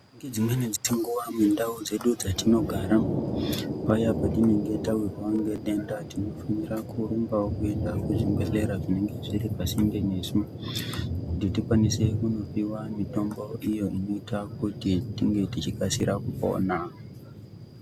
Nedzimweni nguwa mundau dzedu dzatinogara paya patinenge tawirwa nedenda tinofanirawo kurumba kuenda kuzvibhedhlera zvinenge zviri pasinde nesu kuti tikwanise kundopiwa mitombo iyo inoita kuti tive tichikasira kupora.